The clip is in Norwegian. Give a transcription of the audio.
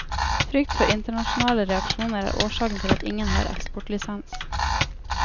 Frykt for internasjonale reaksjoner er årsaken til at ingen har eksportlisens.